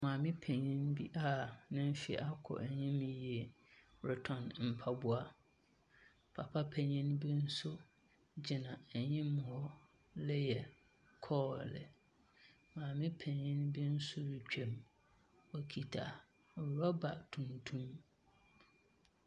Maame panyin bi a ne mfe akɔ enyim yie rotɔn mpaboa, papa panyin bi so gyina enyim ha reyɛ kɔɔle. Maame panyin bi nso rutwa mu, okitsa rɔba tuntum.